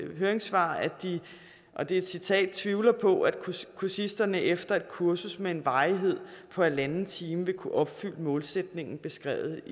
høringssvar og det er et citat tvivler på at kursisterne efter et kursus med en varighed på en en halv time vil kunne opfylde målsætningen beskrevet